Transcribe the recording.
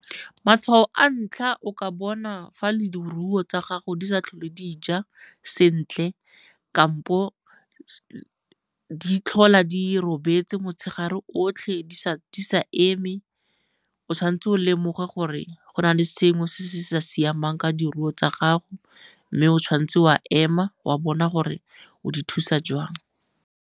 Matshwao a ntlha o ka bona fa tsa gago di sa tlhole di ja sentle kampo di tlhola di robetse motshegare otlhe di sa eme, o tshwanetse o lemoge gore go na le sengwe se se sa siamang ka ditiro tsa gago mme o tshwanetse wa ema wa bona gore o di thusa jwang.